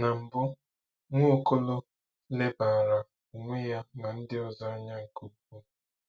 Na mbu, Nwaokolo lebara onwe ya na ndi ozo anya nke ukwuu.